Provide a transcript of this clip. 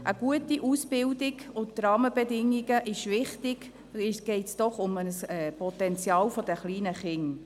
Eine gute Ausbildung und die Rahmenbedingungen sind wichtig, geht es doch um das Potenzial der kleinen Kinder.